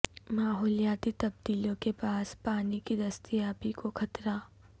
ماحولیاتی تبدیلیوں کے باعث پانی کی دستیابی کو خطرہ